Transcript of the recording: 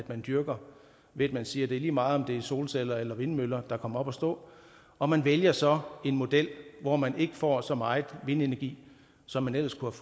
man dyrker ved at man siger at det er lige meget om det er solceller eller vindmøller der kommer op at stå og man vælger så en model hvor man ikke får så meget vindenergi som man ellers kunne